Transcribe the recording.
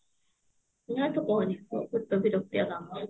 ନା ତୁ କହନି